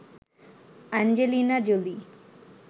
Angelina Jolie